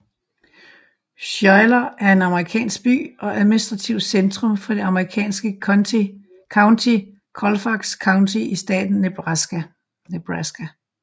Schuyler er en amerikansk by og administrativt centrum for det amerikanske county Colfax County i staten Nebraska